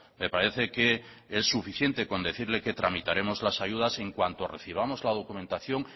me parece que es suficiente con decirle que tramitaremos las ayudas en cuanto recibamos la documentación